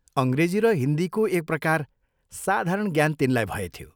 अंग्रेजी र हिन्दीको एक प्रकार साधारण ज्ञान तिनलाई भएथ्यो।